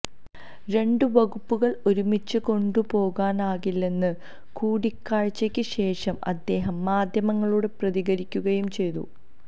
രണ്ട് വകുപ്പുകള് ഒരുമിച്ച് കൊണ്ടുപോകാനാകില്ലെന്ന് കൂടിക്കാഴ്ചക്ക് ശേഷം അദ്ദേഹം മാധ്യമങ്ങളോട് പ്രതികരിക്കുകയും ചെയ്തു